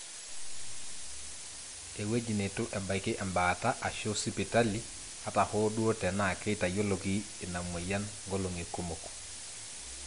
ewueji neitu ebaiki embaata aashu sipitali ata hoo duo tenaa keitayioloki ina mweyian nkolong'i kumok